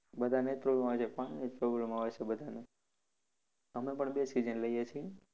બધાને એ જ problem આવે છે. પાણીની જ problem આવે છે બધાને. અમે પણ બે જ season લિએ છે.